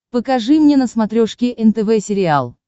покажи мне на смотрешке нтв сериал